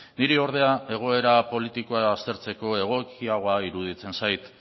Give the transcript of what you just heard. niri ordea egoera politiko aztertzeko egokiagoa iruditzen zait